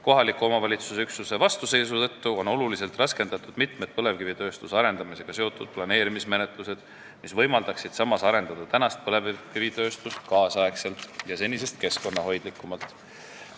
Kohaliku omavalitsuse üksuste vastuseisu tõttu on oluliselt raskendatud mitmed põlevkivitööstuse arendamisega seotud planeerimismenetlused, mis võimaldaksid samas arendada põlevkivitööstust nüüdisaegselt ja senisest keskkonnahoidlikumalt.